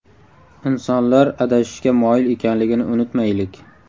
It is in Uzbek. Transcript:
Insonlar adashishga moyil ekanligini unutmaylik.